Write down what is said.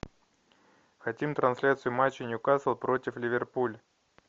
хотим трансляцию матча ньюкасл против ливерпуль